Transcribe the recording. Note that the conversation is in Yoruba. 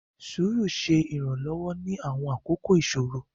Sùúrù ṣe Iranlọwọ ni awọn akoko iṣoro.